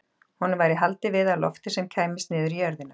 Honum væri haldið við af lofti sem kæmist niður í jörðina.